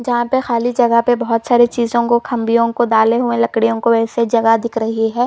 जहाँ पे खाली जगह पे बहुत सारे चीजों को खाबियो को डाले हुए लकड़ियों को ऐसे जगह दिख रही है।